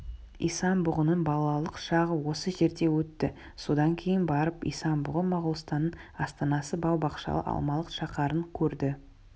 исан-бұғының балалық шағы осы жерде өтті содан кейін барып исан-бұғы моғолстанның астанасы бау-бақшалы алмалық шаһарын көрді